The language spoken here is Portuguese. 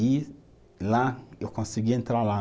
E lá, eu consegui entrar lá.